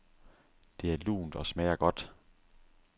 Det er lunt og smager godt.